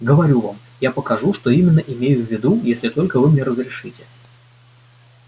говорю вам я покажу что именно имею в виду если только вы мне разрешите